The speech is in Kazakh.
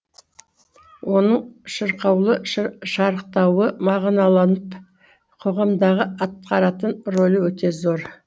оның шырқаулы шарықтауы мағыналанып қоғамдағы атқаратын рөлі өте зор